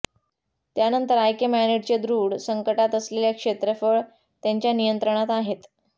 त्यानंतर आइकेमॅनिडचे दृढ संकटात असलेल्या क्षेत्रफळ त्यांच्या नियंत्रणात आहेत